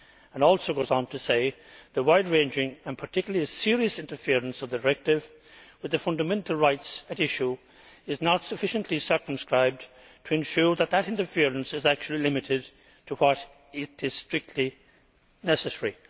It also goes on to say the wide ranging and particularly serious interference of the directive with the fundamental rights at issue is not sufficiently circumscribed to ensure that that interference is actually limited to what is strictly necessaryʼ.